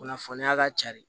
Kunnafoniya ka ca de